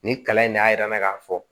Nin kalan in de y'a yira n na k'a fɔ